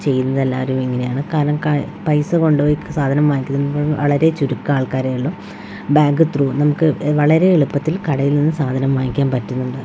ചെയ്യുന്നതെല്ലാവരും ഇങ്ങനെയാണ് കാരണം ക പൈസ കൊണ്ടോയി സാധനം വാങ്ങിക്കുന്നത് വളരെ ചുരുക്കം ആൾക്കാരെ ഉള്ളൂ ബാങ്ക് ത്രൂ നമുക്ക് വളരെ എളുപ്പത്തിൽ കടയിൽ നിന്നും സാധനം വാങ്ങിക്കാൻ പറ്റുന്നുണ്ട്.